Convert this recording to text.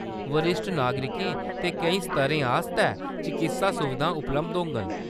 बरिश्ठ नागरिकें ते केईं स्तरें आस्तै चकित्सा सुविधां उपलब्ध होङन।